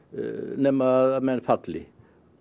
nema menn falli